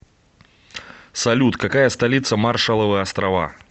салют какая столица маршалловы острова